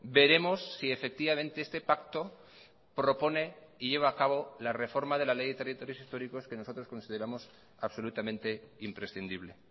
veremos si efectivamente este pacto propone y lleva a cabo la reforma de la ley de territorios históricos que nosotros consideramos absolutamente imprescindible